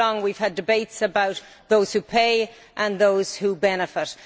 For too long we have had debates about those who pay and those who benefit.